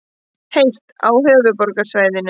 Heitt á höfuðborgarsvæðinu